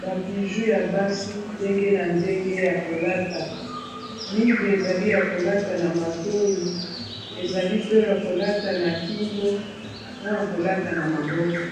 Ba bijoux ya basi ndenge na ndenge ya kolata mingi ezali ya kolata na matoyi ezali pe ya kolata na kingo na ya kolata na maboko